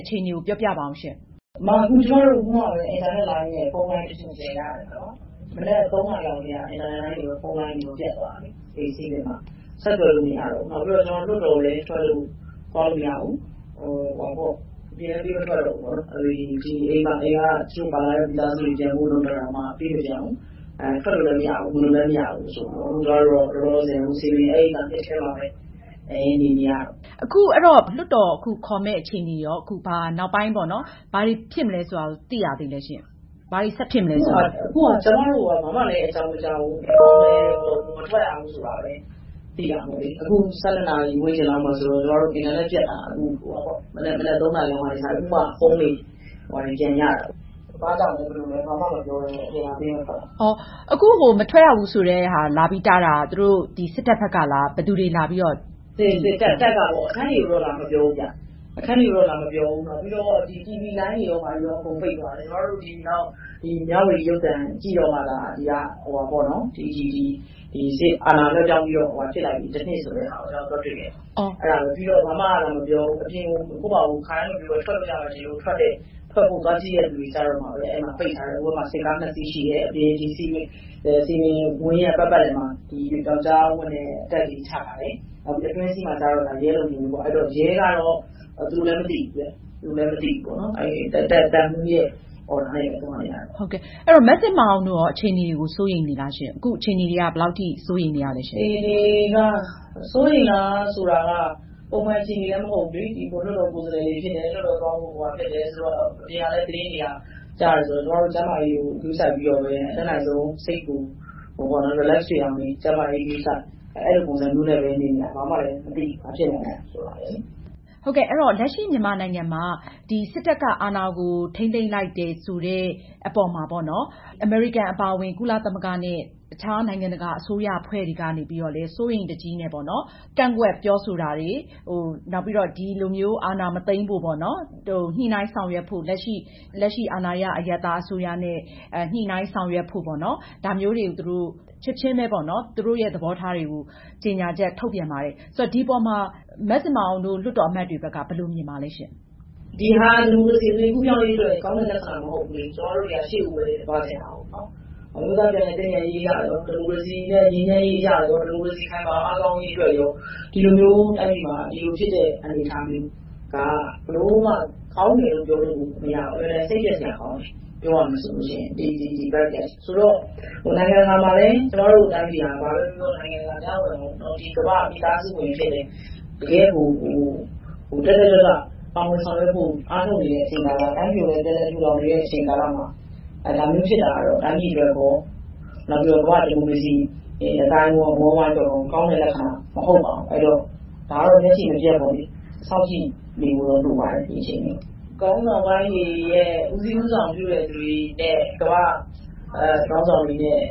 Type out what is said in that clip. အခြေအနေကို ပြောပြပါဦးရှင့်။ အခုမှ ကျမတို့ အင်တာနက်လိုင်းရယ်၊ ဖုန်းလိုင်းရယ် ပြန်ရတယ်။ မနက် ၃ နာရီလောက်ကတည်းက အင်တာနက်လိုင်းတွေရော၊ ဖုန်းလိုင်းတွေရော ပျက်သွားတယ်။ ဆက်သွယ်လို့မရတော့ဘူး။ နောက်ပြီးတော့ လွှတ်တော်ကိုလည်း သွားလို့မရဘူး၊ ထွက်လို့မရဘူး။ အပြင်လည်း ပေးမထွက်တော့ဘူးပေါ့နော်။ ဒီအိမ်က တချို့ပါလာတဲ့ မိသားစုတွေ ပြန်ဖို့လုပ်တာတောင်မှ ပေးမပြန်ဘူးလေ။ ထွက်လို့လည်း မရဘူး၊ ဝင်လို့လည်းမရဘူး။ အခုလောလောဆယ်တော့ စည်ပင်ဧည့်ရိပ်သာရဲ့ အထဲမှာပဲ နေနေရတယ်။ အဲ့ဒီတော့ အခုလွှတ်တော်ခေါ်မယ့် အခြေအနေရော... နောက်ပိုင်းပေါ့နော်... ဘာတွေဖြစ်မလဲဆိုတာကို သိရသေးသလဲရှင့်။ ဘာတွေ ဆက်ဖြစ်မလဲဆိုတာ။ အခုဟာက ကျမတို့ကို ဘာမှလည်းအကြောင်းမကြားဘူး။ ဒီတိုင်းပဲ မထွက်ရဘူးဆိုတာပဲ သိတာပေါ့လေ။ အခု ၁၂ နာရီ ဝန်းကျင်လောက်ဆိုတော့ ကျမတို့ အင်တာနက်ပျက်တာ မနက် ၃ နာရီလောက်ကနေ စတာပေါ့လေ... အခုမှ ဖုန်းတွေ၊ ဘာတွေ ပြန်ရတာ။ ဘာ့ကြောင့်လဲ၊ ဘယ်လိုလဲ၊ ဘာမှ မပြောဘဲနဲ့ အပြင်ပေးမထွက်တာ။ အခု မထွက်ရဘူးဆိုတဲ့ဟာ လာပြီး တားတာက သူတို့ စစ်တပ်ဘက်ကလား။ ဘယ်သူတွေလာပြီး တားတာလဲ။ စစ်တပ်... တပ်ကပေါ့။ အခန်းတွေကိုတော့ လာမပြောဘူး။ နောက်ပြီးတော့ တီဗွီလိုင်းတွေရော၊ ဘာတွေရော အကုန်လုံးပိတ်သွားတယ်။ ကျမတို့ မြဝတီရုပ်သံကြည့်တော့မှသာ ဒီအာဏာလွဲှပြောင်းပြီးတော့ တစ်နှစ်ဆိုတဲ့ဟာကို ကျမတို့ သွားတွေ့တယ်။ အဲဒါပဲ။ ပြီးတော့ ဘာမှမပြောဘူး။ အပြင်ကို ကိုယ့်ဘာသာ ခါတိုင်းလို ထွက်လို့ရတယ်ထင်လို့ ထွက်ဖို့ သွားကြည့်တဲ့သူတွေကျတော့မှပဲ ပိတ်ထားတယ်။ ဟိုဘက်မှာ စစ်ကား နှစ်စီးရှိတယ်။ အပြင် စည်ပင်ဝန်းရဲ့ ပတ်ပတ်လည်မှာ ပြောက်ကျားအဝတ်နဲ့ တပ်တွေ ချထားတယ်။ အတွင်းစည်းမှာကျတော့ ရဲလုံခြုံရေးပေါ့။ အဲဒီတော့ ရဲကတော့ သူလည်း မသိဘူးတဲ့။ သူလည်း မသိဘူးပေါ့နော်။ မဇင်မာအောင်တို့ရော အခြေအနေတွေကို စိုးရိမ်နေလားရှင့်။ အခု အခြေအနေတွေက ဘယ်လောက်ထိ စိုးရိမ်နေရလဲရှင့်။ အခြေအနေက စိုးရိမ်လားဆိုတာက ပုံမှန်အခြေအနေလည်း မဟုတ်ဘူးလေ။ လွှတ်တော်ကိုယ်စားလှယ်တွေဖြစ်တယ်။ လွှတ်တော်သွားဖို့ဖြစ်တယ်ဆိုတော့ အပြင်ကလည်း သတင်းတွေက ကြားတယ်ဆိုတော့ ကျမတို့ ကျန်းမာရေးကို ဂရုစိုက်ပြီးတော့ပဲ အတတ်နိုင်ဆုံး စိတ်ကို relax ဖြစ်အောင်နေတယ်။ ကျန်းမာရေးဂရုစိုက်တယ်။ အဲဒီလိုပုံစံမျိုးနဲ့ပဲ နေနေတယ်။ ဘာမှလည်း မသိဘူး။ ဘာဖြစ်နေသလဲဆိုတာ။ ဟုတ်ကဲ့။ အဲဒီတော့ လက်ရှိမြန်မာနိုင်ငံမှာ စစ်တပ်က အာဏာကို ထိန်းသိမ်းလိုက်တယ်ဆိုတဲ့အပေါ်မှာပေါ့နော်... အမေရိကန်အပါအဝင် ကုလသမဂ္ဂနဲ့ အခြားနိုင်ငံတကာ အစိုးရအဖွဲ့တွေကနေပြီးတော့လည်း စိုးရိမ်တကြီးနဲ့ပေါ့နော်... ကန့်ကွက်ပြောဆိုတာတွေ၊ နောက်ပြီးတော့ ဒီလိုမျိုး အာဏာမသိမ်းဖို့ ညှိနှိုင်းဆောင်ရွက်ဖို့ လက်ရှိ အာဏာရအရပ်သားအစိုးရနဲ့ ညှိနှိုင်းဆောင်ရွက်ဖို့ပေါ့နော်... ဒါမျိုးတွေ သူတို့... ချက်ချင်းပဲပေါ့နော်... သူတို့ရဲ့ သဘောထားတွေကို ကြေငြာချက်ထုတ်ပြန်ပါတယ်။ ဆိုတော့ ဒီအပေါ်မှာ မဇင်မာအောင်တို့ လွှတ်တော်အမတ်တွေဘက်က ဘယ်လိုမြင်ပါသလဲရှင့်။ ဒါဟာ ဒီမိုကရေစီကူးပြောင်းရေးအတွက် ကောင်းတဲ့ လက္ခဏာမဟုတ်ဘူးလေ။ ကျမတို့တွေက ရှေ့ကိုပဲ သွားချင်တာကိုး။ အမျိုးသားပြန်လည်သင့်မြတ်ရေးအရရော၊ ဒီမိုကရေစီခိုင်မာအားကောင်းရေးအတွက်ရော... ဒီလို ဖြစ်တဲ့အနေအထားမျိုးက ဘယ်လိုမှ ကောင်းတယ်လို့ပြောလို့မရဘူး။ အင်မတန်စိတ်ပျက်စရာကောင်းတယ် ပြောရမယ်ဆိုလို့ရှိရင်။ ဆိုတော့ နိုင်ငံတကာမှာလည်း ကျမတို့ တိုင်းပြည်က ဘာပဲပြောပြော ကမ္ဘာ့မိသားစုဝင်အဖြစ်နဲ့ တကယ့်ကို တက်တက်ကြွကြွနဲ့ ပါဝင်ဆောင်ရွက်ဖို့ အားထုတ်နေတဲ့အချိန်မှာ တိုင်းပြည်ကိုလည်း ပြန်လည်ထူထောင်နေတဲ့ကာလမှာ ဒါမျိုးဖြစ်တာကတော့ တိုင်းပြည်အတွက်ရော၊ ကမ္ဘာ့ဒီမိုကရေစီအသိုင်းအဝန်းအတွက်ရော ကောင်းတဲ့လက္ခဏာ မဟုတ်ပါဘူး။ အဲဒီတော့ ဒါကတော့ မျက်ခြေမပျက်ပေါ့လေ... ကြည့်နေဖို့တော့ လိုပါတယ်။ ခေါင်းဆောင်ပိုင်းတွေရဲ့ ဦးစီးဦးဆောင်ပြုတဲ့သူတွေနဲ့ ကမ္ဘာ့ခေါင်းဆောင်တွေနဲ့